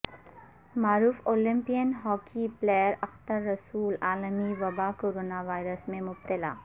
معروف Olympian hockey player Akhtar Rasool عالمی وبا کورونا وائرس میں مبتلا